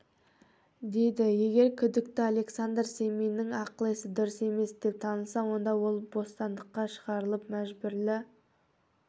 дейді егер күдікті александр семиннің ақыл-есі дұрыс емес деп танылса онда ол бостандыққа шығарылып мәжбүрлі